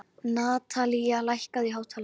Natanael, lækkaðu í hátalaranum.